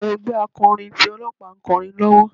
Àwọn ẹgbẹ́ akọrin ti Ọlọ́pàá ń kọrin lọ́wọ́.